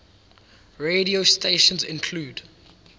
radio stations include